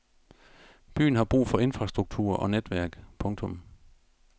Byen har brug for infrastrukturer og netværk. punktum